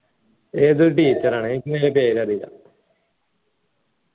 ഏതോ teacher ആണ് എനിക്ക് പേര് അറീല